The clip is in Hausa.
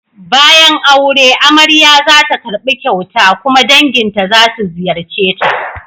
Bayan aure, amarya za ta karbi kyauta kuma danginta za su ziyarce ta.